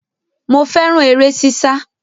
Mo fẹ́ràn eré sísá